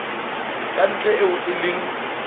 ka ntle eo e leng